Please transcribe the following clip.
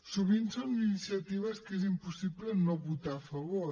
sovint són iniciatives que és impossible no votar a favor